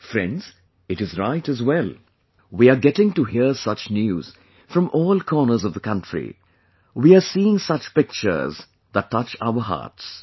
Friends, it is right, as well...we are getting to hear such news from all corners of the country; we are seeing such pictures that touch our hearts